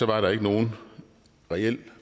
der ikke nogen reel